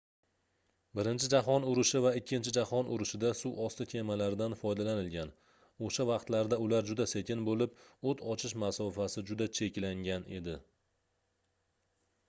birinchi jahon urushi va ikkinchi jahon urushida suvosti kemalaridan foydalanilgan oʻsha vaqtlarda ular juda sekin boʻlib oʻt ochish masofasi juda cheklangan edi